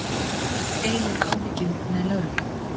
Deilir áhyggjum með lögreglu